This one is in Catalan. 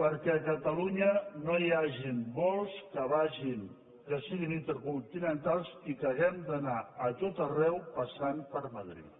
perquè a catalunya no hi hagin vols que siguin intercontinentals i que hàgim d’anar a tot arreu passant per madrid